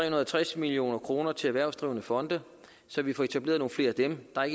og tres million kroner til erhvervsdrivende fonde så vi får etableret nogle flere af dem der er